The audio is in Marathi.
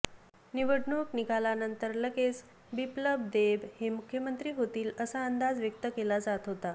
निवडणूक निकालानंतर लगेच बिप्लब देब हे मुख्यमंत्री होतील असा अंदाज व्यक्त केला जात होता